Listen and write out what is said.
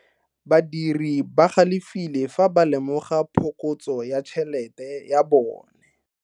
Badiri ba galefile fa ba lemoga phokotso ya tšhelete ya bone.